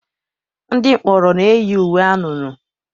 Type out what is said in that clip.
Ndị mkpọrọ na-eyi uwe anunuu.